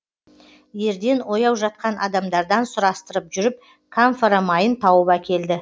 ерден ояу жатқан адамдардан сұрастырып жүріп камфора майын тауып әкелді